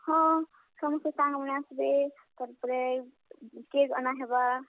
ହଁ, ସମସ୍ତେ ସାଙ୍ଗମାନେ ଆସ୍ ବେ, ତାର୍ ପରେ, cake ଅନା ହେବା।